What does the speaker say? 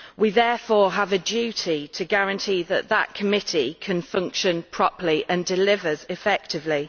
We therefore have a duty to guarantee that this Committee can function properly and delivers effectively.